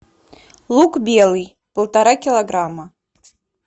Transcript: лук белый полтора килограмма